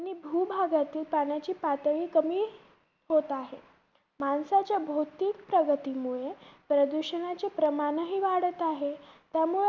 आणि भूभागातील पाण्याची पातळी कमी होत आहे. माणसाच्या भौतिक प्रगतीमुळे प्रदूषणाचे प्रमाणही वाढत आहे. त्यामुळे